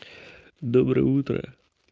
доброе утро